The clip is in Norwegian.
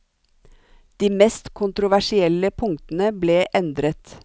De mest kontroversielle punktene ble endret.